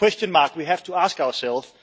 That is a question we have to ask ourselves.